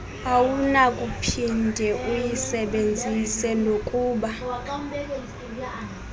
awunakuphinde uyisebenzise nokokuba